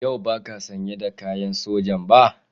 Yau ba ka sanye da kayan soja ba?